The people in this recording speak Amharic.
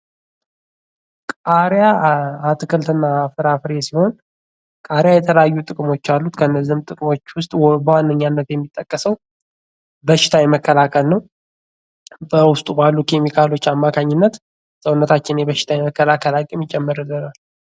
ቃሪያ አትክልትና ፍራፍሬ ሲሆን ፤ ቃሪያ የተለያዩ ጥቅሞች አሉት። ከነዚህም ጥቅሞቹ ውስጥ በዋነኛነት የሚጠቀሰው በሽታ የመከላከል ነው። በውስጡ ባሉ ኬሚካሎች አማካኝነት ሰውነታችን የበሽታ የመከላከል አቅምን ይጨምርልናል።